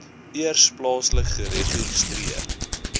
eers plaaslik geregistreer